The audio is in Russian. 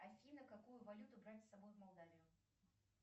афина какую валюту брать с собой в молдавию